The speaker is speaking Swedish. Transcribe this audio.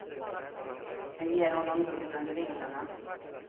Det ger honom luft under vingarna.